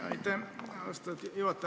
Aitäh, austatud juhataja!